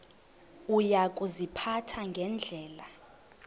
uya kuziphatha ngendlela